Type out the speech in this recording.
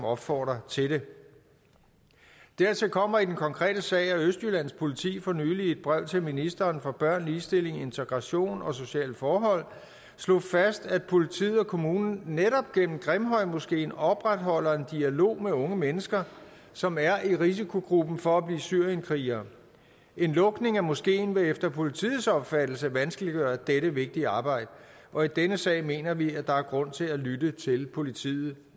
opfordrer til det dertil kommer i den konkrete sag at østjyllands politi for nylig i et brev til ministeren for børn ligestilling integration og sociale forhold slog fast at politiet og kommunen netop gennem grimhøjmoskeen opretholder en dialog med unge mennesker som er i risikogruppen for at blive syrienkrigere en lukning af moskeen vil efter politiets opfattelse vanskeliggøre dette vigtige arbejde og i denne sag mener vi at der er grund til at lytte til politiet